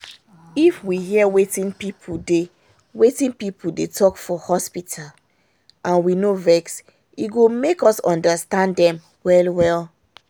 if we hear wetin people dey wetin people dey talk for hospital and we no vex e go make us understand dem well well